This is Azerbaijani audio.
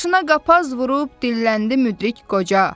Başına qapaz vurub dilləndi müdrik qoca.